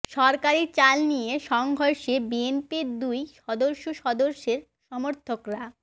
সরকারি চাল নিয়ে সংঘর্ষে বিএনপির দুই সংসদ সদস্যের সমর্থকরা